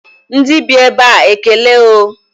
Ndị bi ebe a ekele o